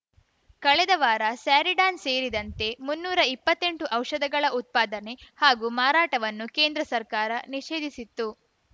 ಕಳೆದ ವಾರ ಸ್ಯಾರಿಡಾನ್‌ ಸೇರಿದಂತೆ ಮುನ್ನೂರಾ ಇಪ್ಪತ್ತೆಂಟು ಔಷಧಗಳ ಉತ್ಪಾದನೆ ಹಾಗೂ ಮಾರಾಟವನ್ನು ಕೇಂದ್ರ ಸರ್ಕಾರ ನಿಷೇಧಿಸಿತ್ತು